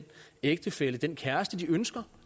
ægtefælle og den kæreste de ønsker